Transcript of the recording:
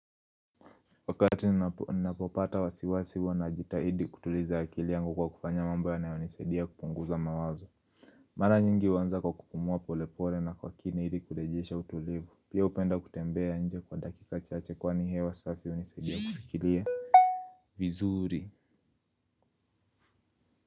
Wakati ninapopata wasiwasi huwa najitahidi kutuliza akili yangu kwa kufanya mambo yanayonisaidia kupunguza mawazo. Mara nyingi huanza kwa kupumua polepole na kwa kini ili kurejesha utulivu. Pia hupenda kutembea nje kwa dakika chache kwani hewa safi hunisaidia kufikiria. Vizuri.